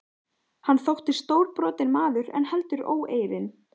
Hann þótti stórbrotinn maður en heldur óeirinn.